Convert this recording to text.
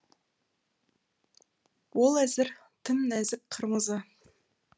ол әзір тым нәзік қырмызы